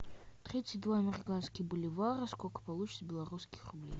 тридцать два американских боливара сколько получится белорусских рублей